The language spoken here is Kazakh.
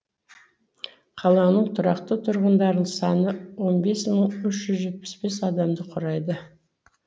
қаланың тұрақты тұрғындарының саны он бес мың үш жүз жетпіс бес адамды құрайды